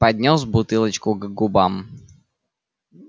поднёс бутылочку к губам